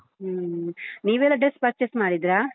ಹೂ, ನೀವೆಲ್ಲ dress purchase ಮಾಡಿದ್ರಾ?